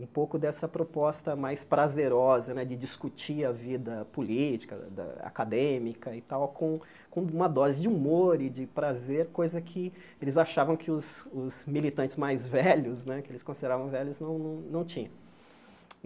um pouco dessa proposta mais prazerosa né de discutir a vida política da, acadêmica e tal, com com uma dose de humor e de prazer, coisa que eles achavam que os os militantes mais velhos né, que eles consideravam velhos, não não tinham.